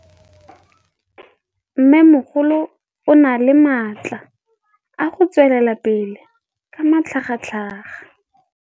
Mmêmogolo o na le matla a go tswelela pele ka matlhagatlhaga.